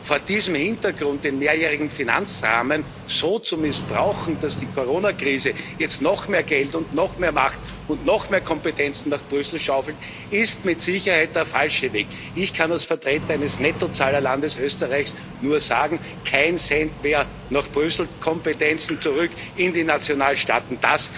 Vor diesem Hintergrund den mehrjährigen Finanzrahmen so zu missbrauchen, dass die Corona Krise jetzt noch mehr Geld und noch mehr Macht und noch mehr Kompetenzen nach Brüssel schaufelt, ist mit Sicherheit der falsche Weg. Ich kann als Vertreter eines Nettozahlerlandes, Österreich, nur sagen Keinen Cent mehr nach Brüssel, Kompetenzen zurück in die Nationalstaaten!